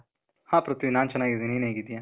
ಹಾ, ಪ್ರಿಥ್ವಿ ನಾನ್ ಚನಾಗಿದೀನಿ. ನೀನ್ ಹೇಗಿದೀಯ?